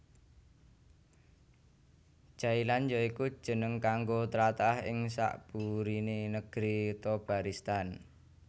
Jailan ya iku jeneng kanggo tlatah ing sakburiné Negri Thobaristan